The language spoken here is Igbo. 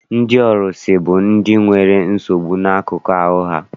Ndị ọrụsị bụ ndị nwere nsogbu n'akụkụ ahụ ha.